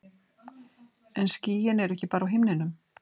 En skýin eru ekki bara á himninum.